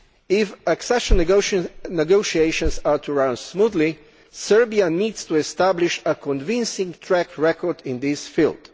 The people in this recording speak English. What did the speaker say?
If accession negotiations are to run smoothly, Serbia needs to establish a convincing track record in this field.